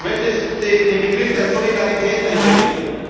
Ich möchte den Begriff der Solidarität einbringen.